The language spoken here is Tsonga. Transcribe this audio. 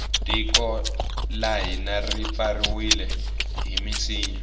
tiko la hina ri pfariwile hi minsinya